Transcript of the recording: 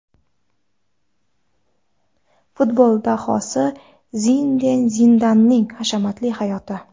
Futbol dahosi Zinedin Zidanning hashamatli hayoti.